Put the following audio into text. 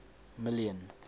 million